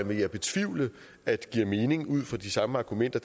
vil betvivle at det giver mening ud fra de samme argumenter